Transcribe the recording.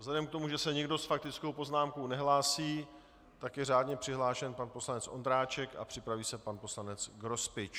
Vzhledem k tomu, že se nikdo s faktickou poznámkou nehlásí, tak je řádně přihlášen pan poslanec Ondráček a připraví se pan poslanec Grospič.